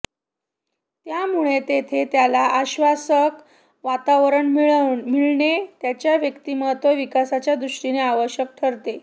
त्यामुळे तेथे त्याला आश्वासक वातावरण मिळणे त्याच्या व्यक्तिमत्त्व विकासाच्या दृष्टीने आवश्यक ठरते